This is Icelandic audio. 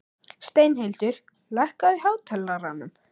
Steinhildur, lækkaðu í hátalaranum.